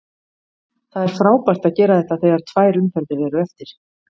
Það er frábært að gera þetta þegar tvær umferðir eru eftir.